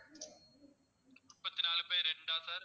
முப்பத்தி நாலு by ரெண்டா sir